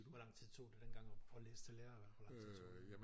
Hvor lang tid tog det dengang at læse til lærer hvor lang tid tog det